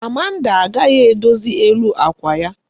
Amanda agaghị edozi elu àkwà ya.